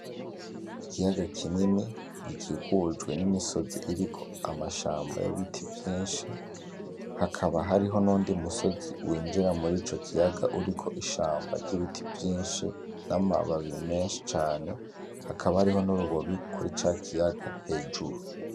Ikiyaga kinini gikikujwe n'imisozi iriko amashamba y'ibiti vyinshi, hakaba hariho n'uyundi musozi w'injira murico kiyaga uriko ishamba ry'ibiti vyinshi, n'amababi menshi cane hakaba hariho n'urubobi kuri ca kiyaga hejuru.